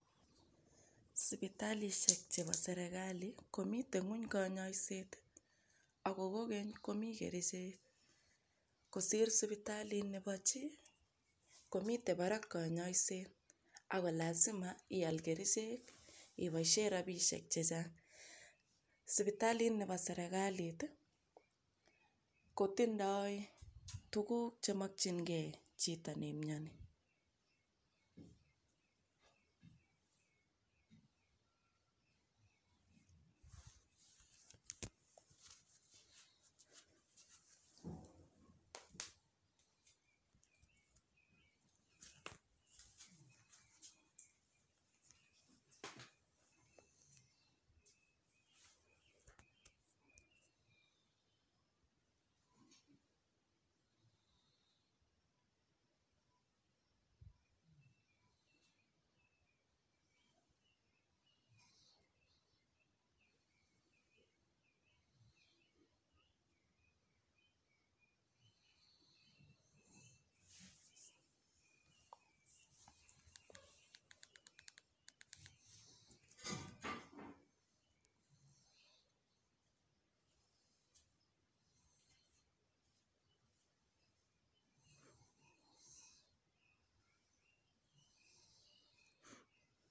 Sipitalishek chebo serekali komite ng'wony kanyaiset ako kogeny komii kerichek. Kosir sipitalit nebo chi komitei barak kanyaiset ako lazima ial kerichek iboishe robishek chechang'. Sipitalit nebo serekalit i kotindoi tuguk chemoknjingei chito neimnyani.